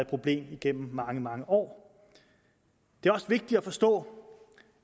problem igennem mange mange år det er også vigtigt at forstå